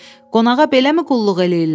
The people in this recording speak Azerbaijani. Qonağa beləmi qulluq eləyirlər?